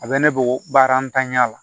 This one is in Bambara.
A bɛ ne bolo baara ntanya la